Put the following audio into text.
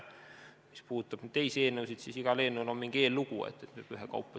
Mis puudutab teisi eelnõusid, siis igal eelnõul on mingi eellugu, arutame siis ühekaupa.